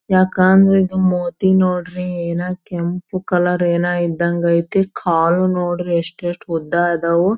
ಯಾಕ ಅಂದ್ರ ಇದು ಮೂತಿ ನೋಡ್ರಿ ಏನ ಕೆಂಪು ಕಲರ್ ಏನ ಇದ್ದಂಗ್ ಐತಿ ಕಾಲು ನೋಡ್ರಿ ಎಸ್ಟೇಟ್ ಉದ್ದ ಆದವು.